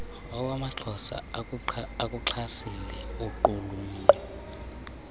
nawamaphondo akuxhasile ukuqulunqwa